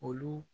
Olu